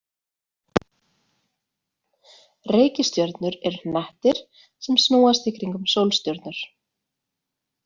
Reikistjörnur eru hnettir sem snúast í kringum sólstjörnur.